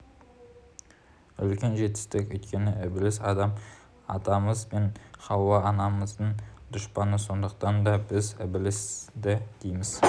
үлкен жетістік өйткені ібіліс адам атамыз бен хауа анамыздың дұшпаны сондықтан да біз ібілісті дейміз